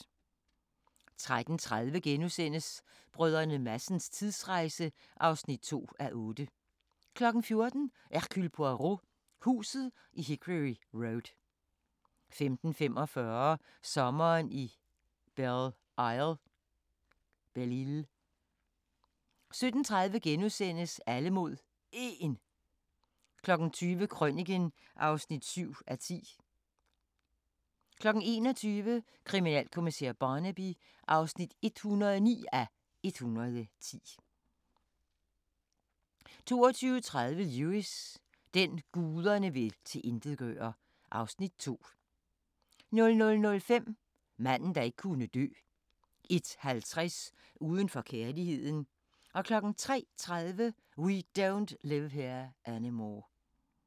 13:30: Brdr. Madsens tidsrejse (2:8)* 14:00: Hercule Poirot: Huset i Hickory Road 15:45: Sommeren i Belle Isle 17:30: Alle mod 1 * 20:00: Krøniken (7:10) 21:00: Kriminalkommissær Barnaby (109:110) 22:30: Lewis: Den, guderne vil tilintetgøre (Afs. 2) 00:05: Manden, der ikke kunne dø 01:50: Uden for kærligheden 03:30: We Don't Live Here Anymore